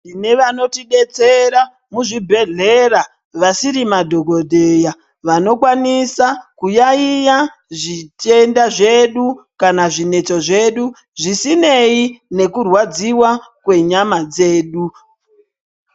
Tinevanoti detsera muzvi bhehlera vasiri madhokodheya vanokwanisa kuyayiya zvitenda zvedu kana zvinetso zvedu zvisinei nekurwadziwa kwenyama dzedu